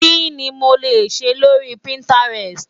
Kí ni mo lè ṣe lórí Pinterest?